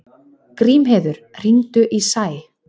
Grímheiður, hringdu í Sæ.